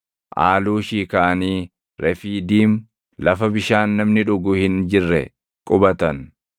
Aaluushii kaʼanii Refiidiim lafa bishaan namni dhugu hin jirre qubatan.